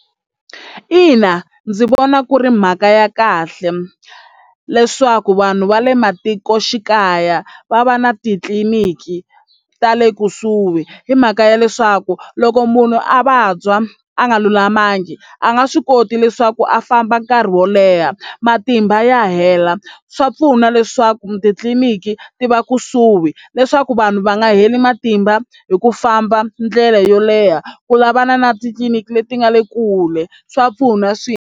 Ina, ndzi vona ku ri mhaka ya kahle leswaku vanhu va le matikoxikaya va va na titliliniki ta le kusuhi hi mhaka ya leswaku loko munhu a vabya a nga lulamangi a nga swi koti leswaku a famba nkarhi wo leha matimba ya hela swa pfuna leswaku titliniki ti va kusuhi leswaku vanhu va nga heli matimba hi ku famba ndlela yo leha ku lavana na titliliniki leti nga le kule swa pfuna swinene.